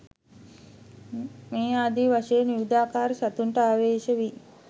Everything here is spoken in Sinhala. මේ ආදී වශයෙන් විවිධාකාර සතුන්ටත් ආවේශ වී